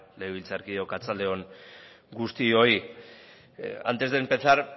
legebiltzarkideok arratsalde on guztioi antes de empezar